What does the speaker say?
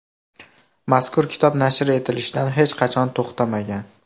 Mazkur kitob nashr etilishdan hech qachon to‘xtamagan.